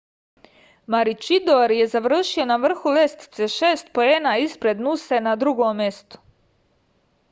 maručidor je završio na vrhu lestvice šest poena ispred nuse na drugom mestu